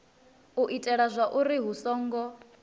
u itela zwauri hu songo